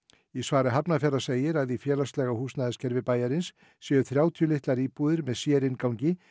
í svari Hafnarfjarðar segir að í félagslega húsnæðiskerfi bæjarins séu þrjátíu litlar íbúðir með sérinngangi